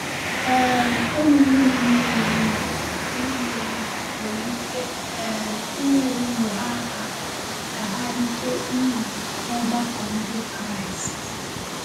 um Ụmụnne nne na nna nne na nna nwere ike um inyere ụmụ ha aka ka ha rite uru n’ọgbakọ Ndị Kraịst.